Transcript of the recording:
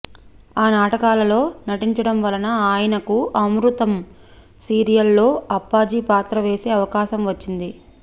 ఆ నాటకాలలో నటించడం వలన ఆయనకు అమృతం సీరియల్ లో అప్పాజీ పాత్ర వేసే అవకాశం వచ్చింది